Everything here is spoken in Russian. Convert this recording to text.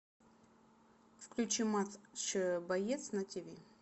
включи матч боец на тиви